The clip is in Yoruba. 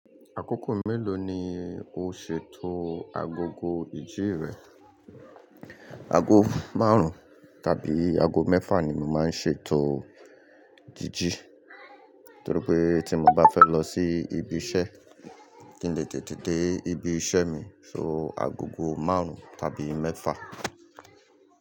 Àkókò mélòó ni o ṣètò agogo ìjí rẹ? Ago márùn-ún tàbí ago mẹ́fà ni mo màá n ṣe ètò jíjí, torí pé tí mo bá fẹ́ lọ sí ibi iṣẹ́ kí n lè tètè dé ibi iṣẹ́ mi, so agogo márùn-ún tàbí mẹ́fà.